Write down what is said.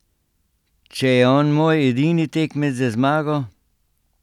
Če je on moj edini tekmec za zmago?